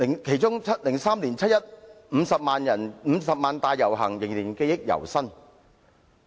其中2003年50萬人的七一遊行，我仍記憶猶新。